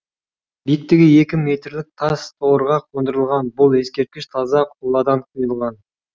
биіктігі екі метрлік тас тұғырға қондырылған бұл ескерткіш таза қоладан құйылған